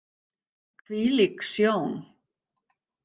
Hvílík sjón!